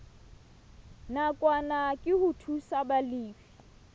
nakwana ke ho thusa balefi